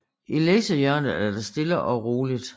I læsehjørnet er der stille og roligt